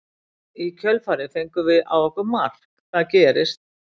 Í kjölfarið fengum við á okkur mark, það gerist.